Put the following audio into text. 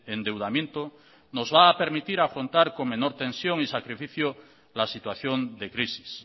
endeudamiento nos va a permitir afrontar con menor tensión y sacrificio la situación de crisis